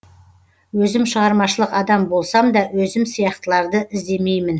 өзім шығармашылық адам болсам да өзім сияқтыларды іздемеймін